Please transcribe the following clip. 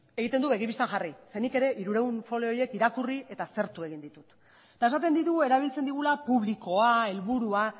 egiten du begi bistan jarri zeren nik ere hirurehun folio horiek irakurri eta aztertu egin ditut eta esaten digu erabiltzen dugula publikoa helburua